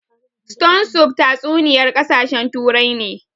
Stone soup tatsuniyar ƙasashen Turai ne